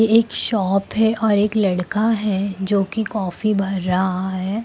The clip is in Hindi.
ये एक शॉप है और एक लड़का है जो की कॉफी भर रहा है।